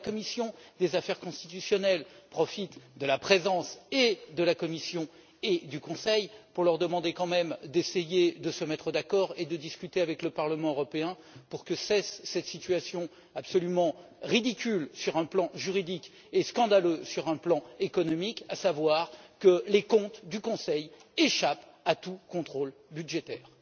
La commission des affaires constitutionnelles profite de la présence de la Commission et du Conseil pour leur demander d'essayer de se mettre d'accord et de discuter avec le Parlement européen pour que cesse cette situation absolument ridicule sur un plan juridique et scandaleuse sur un plan économique à savoir que les comptes du Conseil échappent à tout contrôle budgétaire.